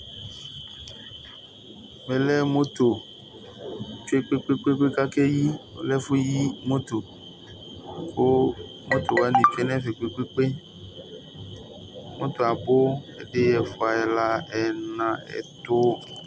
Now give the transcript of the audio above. Ǝmɛ lɛ ɛfʊ yi utuvegele, utuvegelewanɩ abʊ, edɩ, ɛfua, ɛla ɛna, ɛtʊ